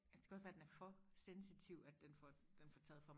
altså det kan også være den er for sensitiv at den får den får taget for